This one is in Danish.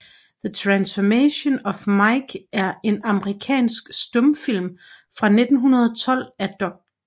The Transformation of Mike er en amerikansk stumfilm fra 1912 af D